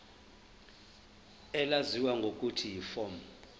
elaziwa ngelokuthi yiform